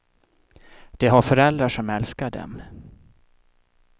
De har föräldrar som älskar dem.